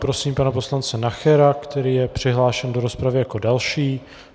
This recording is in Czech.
Prosím pana poslance Nachera, který je přihlášen do rozpravy jako další.